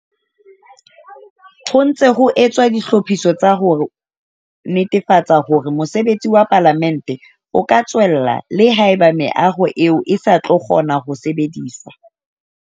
Ho ntse ho etswa ditlhophiso tsa ho netefatsa hore mosebetsi wa Palamente o ka tswella le haeba meaho eo e sa tlo kgona ho sebediswa.